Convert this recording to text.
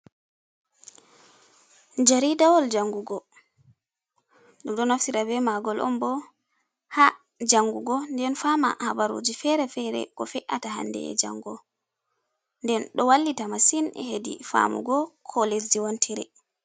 Jariɗawol jangugo ɗum ɗo naftira ɓe magol on ɓo ha jangugo nɗen fama haɓaruji fere-fere, ko fe’ata hanɗe e jango nɗen ɗo wallita masin heɗi famugo ko lesji wontiri.